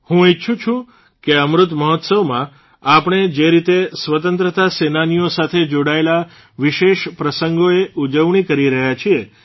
હું ઇચ્છું છું કે અમૃત મહોત્સવમાં આપણે જે રીતે સ્વતંત્રતા સેનાનીઓ સાથે જોડાયેલા વિશેષ પ્રસંગોએ ઉજવણી કરી રહ્યા છીએ